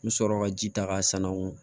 N bɛ sɔrɔ ka ji ta k'a san u bolo